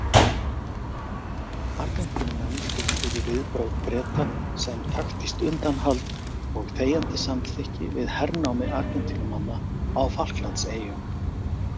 Argentínumenn túlkuðu viðbrögð Breta sem taktískt undanhald og þegjandi samþykki við hernámi Argentínumanna á Falklandseyjum.